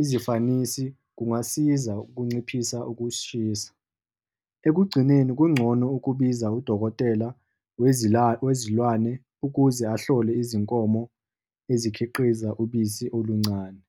izifanisi kungasiza ukunciphisa ukuzishisa khona. Ukugcineni, kungcono ukubiza udokotela wezilwane ukuze ahlole izinkomo ezikhiqiza ubisi oluncane.